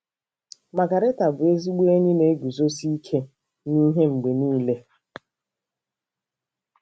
Magarita bụ ezigbo enyi na-eguzosi ike n'ihe mgbe nile.